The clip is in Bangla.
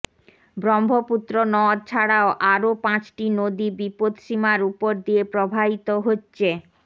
ব্রহ্মপুত্র নদ ছাড়াও আরও পাঁচটি নদী বিপদসীমার উপর দিয়ে প্রবাহিত হচ্ছে